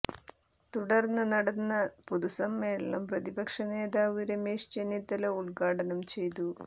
തുടർന്ന് നടന്ന പൊതുസമ്മേളനം പ്രതിപക്ഷ നേതാവ് രമേശ് ചെന്നിത്തല ഉദ്ഘാടനം ചെയ്തു